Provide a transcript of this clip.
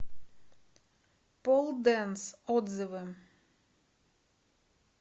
пол дэнс отзывы